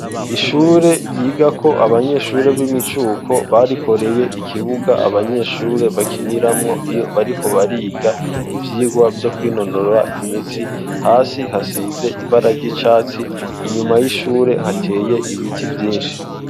ishure ryigako abanyeshure b'imicuko barikoreye ikibuga abanyeshure bakiniramwo iyo bariko bariga ivyigwa vyo kwinonora imitsi hasi hasize ibara ry'icatsi inyuma y'ishure hateye ibiti vyinshi